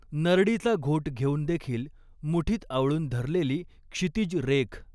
नरडीचा घोट घेऊन देखील मुठीत आवळून धरलेली क्षितीज रेख.